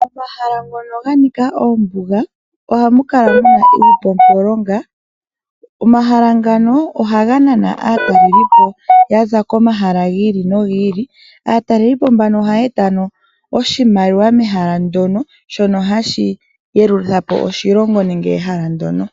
Omahala ngono ga nika oombuga ohamu kala muna iipumpulonga. Omahala ngano ohaga nana aatalelipo ya za komahala gi ili nogi ili. Aatalelipo mbano ohaya eta ano oshimaliwa mehala ndono, shono hashi yeluthapo oshilongo nenge ehala ndono.